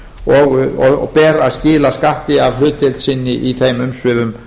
og ber að skila skatti af hlutdeild sinni í þeim umsvifum